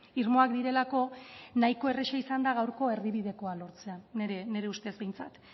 irmoak direlako nahiko erresa izan da gaurko erdibidekoa lortzea nire ustez behintzat